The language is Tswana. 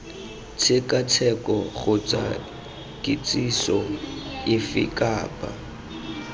tshekatsheko kgotsa kitsiso efe kapa